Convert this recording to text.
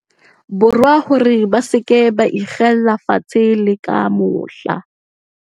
Borwa hore ba se ke ba ikgella fatshe le ka mohla.